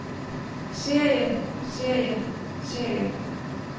serie serie serie